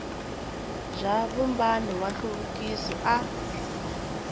bya vumbano wa nhluvukiso a